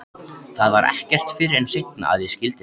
Það var ekki fyrr en seinna að ég skildi það.